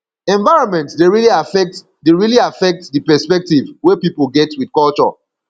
environment dey really affect di really affect di perspective wey pipo get with culture